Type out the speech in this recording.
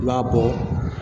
I b'a bɔ